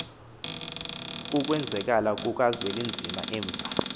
kukwenzakala kukazwelinzima emva